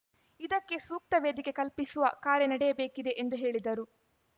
ಇದಕ್ಕೆ ಸೂಕ್ತ ವೇದಿಕೆ ಕಲ್ಪಿಸುವ ಕಾರ್ಯ ನಡೆಯಬೇಕಿದೆ ಎಂದು ಹೇಳಿದರು